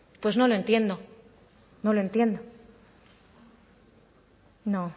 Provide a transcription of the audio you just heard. pues no lo entiendo no lo entiendo no